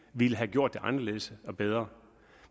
ville have gjort det anderledes og bedre